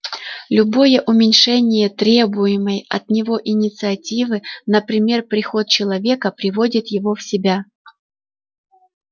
любое уменьшение требуемой от него инициативы например приход человека приводит его в себя